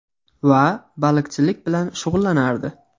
Va baliqchilik bilan shug‘ullanardi.